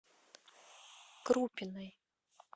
крупиной